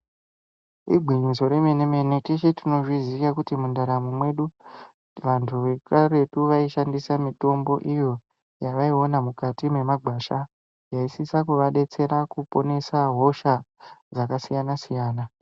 Igwinyiso remene mene, teshe tinozviziya kuti mundaramwo mwedu vantu vekaretu vaishandisa mitombo iyo yavaiona mukati mwemagwesha yeisisa kuvadetsera kuponesa hosha dzakasiyana siyana.